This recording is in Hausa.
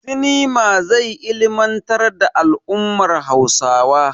Sinema zai ilmantar da al'ummar Hausawa.